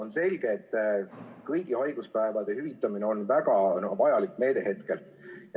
On selge, et kõigi haiguspäevade hüvitamine on praegu väga vajalik meede.